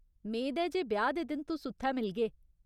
मेद ऐ जे ब्याह् दे दिन तुस उत्थै मिलगे !